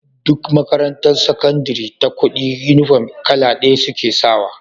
Duk makarantar sakandari ta kudi inufom kala daya suke sawa